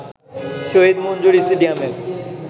শহীদ মঞ্জুর স্টেডিয়ামের